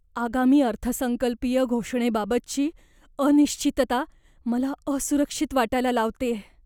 आगामी अर्थसंकल्पीय घोषणेबाबतची अनिश्चितता मला असुरक्षित वाटायला लावतेय.